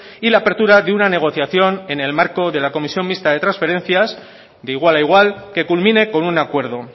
y la apertura de una negociación en el marco de la comisión mixta de transferencias de igual a igual que culmine con un acuerdo